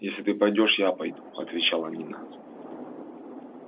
если ты пойдёшь я пойду отвечала нина